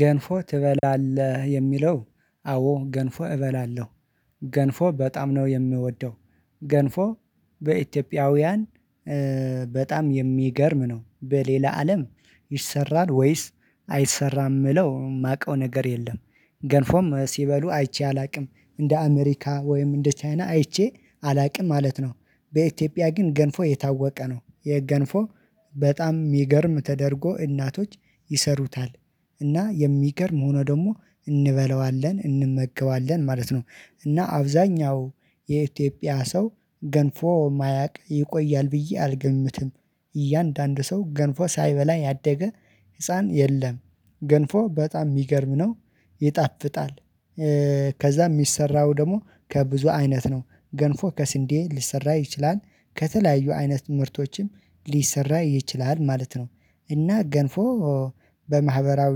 ገንፎ ትበላለህ? የሚለው አዎ ገንፎ እበላለሁ። ገንፎ በጣም ነው የምወደው። ገንፎ በኢትዮጵያውያን በጣም የሚገርም ነው። በሌላ አለም ይሰራል ወይስ አይሰራም የምለው የማውቀው ነገር የለም። ገንፎም ሲበሉ አይቼ አላውቅም እንደ አሜሪካ ወይም እንደ ቻይና አይቼ አላውቅም ማለት ነው። በኢትዮጵያ ግን ገንፎ የታወቀ ነው የገንፎ በጣም የሚገርም ተደርጎ እናቶች ይሰሩታል። እና የሚገርም ሆኖ ደግሞ እንበለዋለን እንመገባለን ማለት ነው። እና አብዛኛው የኢትዮጵያ ሰው ገንፎ የማያውቅ ይቆያል ብዬ አልገምትም። እያንዳንዱ ሰው ገንፎ ሳይበላ ያደገ ህፃን የለም። ገንፎ በጣም የሚገርም ነው ይጣፍጣል። ከዛ የሚሰራው ደግሞ ከብዙ አይነት ነው ገንፎ ከስንዴ ሊሰራ ይችላል ከተለያዩ አይነት ምርቶችም ሊሰራ ይችላል ማለት ነው። እና ገንፎ በማህበራዊ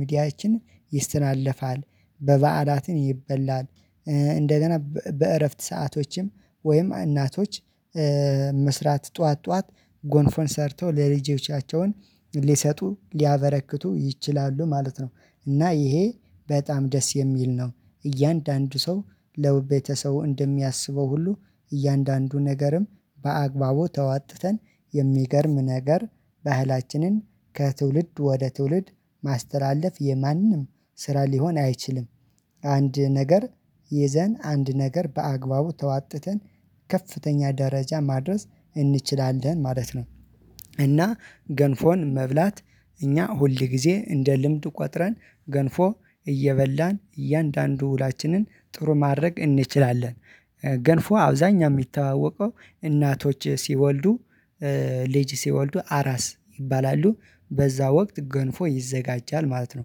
ሚዲያችን ይስተላለፋል በበዓላትም ይበላል። እንደገና በእረፍት ሰአቶችም ወይም እናቶች መስራት ጠዋት ጠዋት ጎንፎን ሰርተው ለልጆቻቸውን ሊሰጡ ሊያበረክቱ ይችላሉ ማለት ነው። እና ይሄ በጣም ደስ የሚል ነው። እያንዳንዱ ሰው ለቤተሰቡ እንደሚያስበው ሁሉ እያንዳንዱ ነገርም በአግባቡ ተዋጥተን የሚገርም ነገር ባህላችንን ከትውልድ ወደ ትውልድ ማስተላለፍ የማንም ስራ ሊሆን አይችልም። አንድ ነገር ይዘን አንድ ነገር በአግባቡ ተዋጥተን ከፍተኛ ደረጃ ማድረስ እንችላለን ማለት ነው። እና ገንፎን መብላት እኛ ሁል ጊዜ እንደ ልምድ ቆጥረን ገንፎ እየበላን እያንዳንዱ ውሏችንን ጥሩ ማድረግ እንችላለን። ገንፎ አብዛኛ የሚተዋወቀው እናቶች ሲወልዱ ልጅ ሲወልዱ አራስ ይባላሉ በዛ ወቅት ገንፎ ይዘጋጃል ማለት ነው።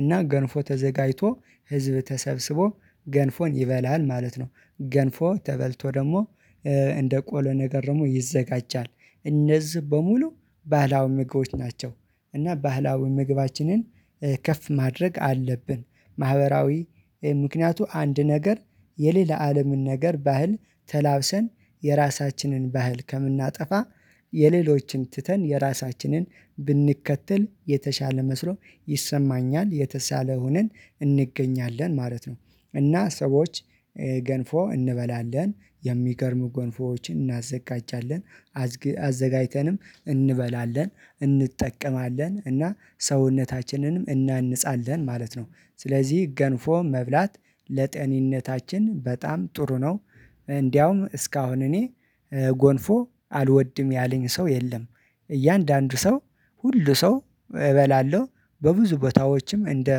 እና ገንፎ ተዘጋጅቶ ህዝብ ተሰብስቦ ገንፎን ይበላል ማለት ነው። ገንፎ ተበልቶ ደግሞ እንደ ቆሎ ነገር ደግሞ ይዘጋጃል። እነዚህ በሙሉ ባህላዊ ምግቦች ናቸው። እና ባህላዊ ምግባችንን ከፍ ማድረግ አለብን። ማህበራዊ ምክንያቱ አንድ ነገር የሌላ አለምን ነገር ባህል ተላብሰን የራሳችንን ባህል ከምናጠፋ የሌሎችን ትተን የራሳችንን ብንከተል የተሻለ መስሎ ይሰማኛል የተሻለ ሁነን እንገኛለን ማለት ነው። እና ሰዎች ገንፎ እንበላለን የሚገርሙ ጎንፎዎችን እናዘጋጃለን አዘጋጅተንም እንበላለን እንጠቀማለን እና ሰውነታችንንም እናንጻለን ማለት ነው። ስለዚህ ገንፎ መብላት ለጤንነታችን በጣም ጥሩ ነው። እንደውም እስካሁን እኔ ጎንፎ አልወድም ያለኝ ሰው የለም። እያንዳንዱ ሰው ሁሉ ሰው እበላለሁ በብዙ ቦታዎችም እንደ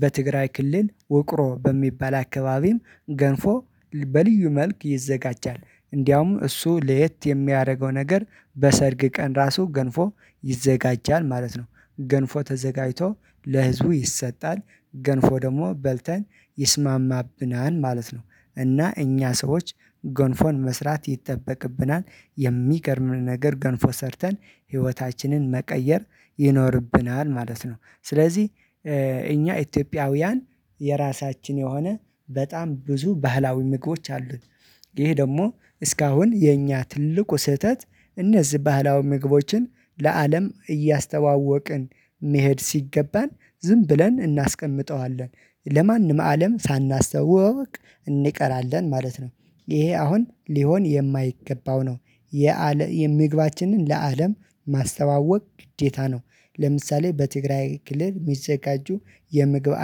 በትግራይ ክልል ውቅሮ በሚባል አካባቢም ገንፎ በልዩ መልክ ይዘጋጃል። እንደውም እሱ ለየት የሚያደርገው ነገር በሰርግ ቀን ራሱ ገንፎ ይዘጋጃል ማለት ነው። ገንፎ ተዘጋጅቶ ለህዝቡ ይሰጣል ገንፎ ደግሞ በልተን ይስማማብናል ማለት ነው። እና እኛ ሰዎች ጎንፎን መስራት ይጠበቅብናል። የሚቀርብን ነገር ገንፎ ሰርተን ህይወታችንን መቀየር ይኖርብናል ማለት ነው። ስለዚህ እኛ ኢትዮጵያውያን የራሳችን የሆነ በጣም ብዙ ባህላዊ ምግቦች አሉን። ይሄ ደግሞ እስካሁን የኛ ትልቁ ስህተት እነዚህ ባህላዊ ምግቦችን ለአለም እያስተዋወቅን መሄድ ሲገባን ዝም ብለን እናስቀምጠዋለን ለማንም አለም ሳናስተዋውቅ እንቀራለን ማለት ነው። ይሄ አሁን ሊሆን የማይገባው ነው። የምግባችንን ለአለም ማስተዋወቅ ግዴታ ነው። ለምሳሌ በትግራይ ክልል የሚዘጋጁ የምግብ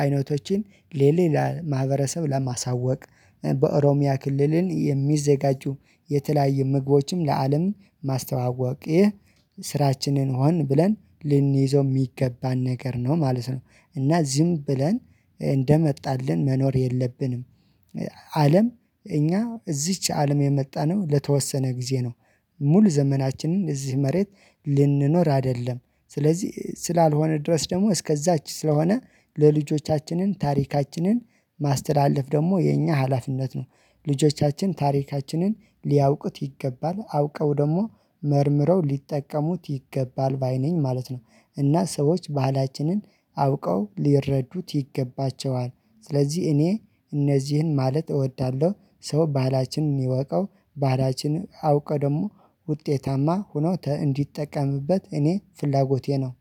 አይነቶችን ለሌላ ማህበረሰብ ለማሳወቅ በኦሮሚያ ክልልን የሚዘጋጁ የተለያየ ምግቦችም ለአለም ማስተዋወቅ ይህ ስራችንን ሆን ብለን ልንይዘው የሚገባን ነገር ነው ማለት ነው። እና ዝም ብለን እንደመጣልን መኖር የለብንም። አለም እኛ እዚች አለም የመጣነው ለተወሰነ ጊዜ ነው። ሙሉ ዘመናችንን እዚህ መሬት ልንኖር አይደለም ስለዚህ ስላልሆነ ድረስ ደግሞ እስከዛች ስለሆነ ለልጆቻችንን ታሪካችንን ማስተላለፍ ደግሞ የኛ ሀላፊነት ነው። ልጆቻችን ታሪካችንን ሊያውቁት ይገባል አውቀው ደግሞ መርምረው ሊጠቀሙት ይገባል ባይ ነኝ ማለት ነው። እና ሰዎች ባህላችንን አውቀው ሊረዱት ይገባቸዋል። ስለዚህ እኔ እነዚህን ማለት እወዳለሁ ሰው ባህላችንን ይወቀው ባላችንን አውቀው ደግሞ ውጤታማ ሆኖ እንዲጠቀምበት እኔ ፍላጎቴ ነው።